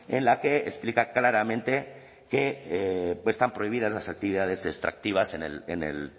en la que explica claramente que están prohibidas las actividades extractivas en el